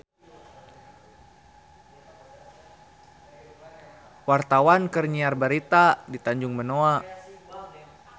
Wartawan keur nyiar berita di Tanjung Benoa